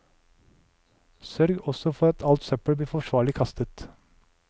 Sørg også for at alt søppel blir forsvarlig kastet.